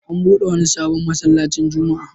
An buɗe wani sabon masallacin Juma'a.